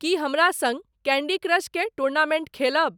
की हमरा सँग Candy Crush के टूर्नामेंट खेलब